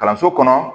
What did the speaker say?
Kalanso kɔnɔ